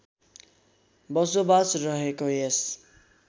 बसोबास रहेको यस